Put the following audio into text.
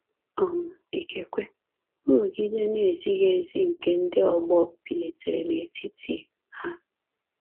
um Ikekwe, nrụgide na-ezighị ezi nke ndị ọgbọ bilitere n’etiti ha.